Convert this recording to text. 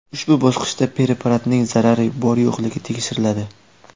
Ushbu bosqichda preparatning zarari bor-yo‘qligi tekshiriladi.